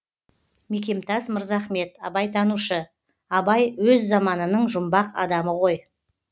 мекемтас мырзахмет абайтанушы абай өз заманының жұмбақ адамы ғой